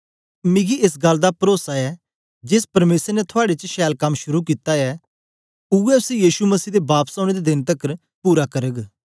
मिकी एस गल्ल दा परोसा ऐ जेस परमेसर ने थुआड़े च छैल कम शुरू कित्ता ऐ उवै उसी यीशु मसीह दे बापस औने दे देन तकर पूरा करग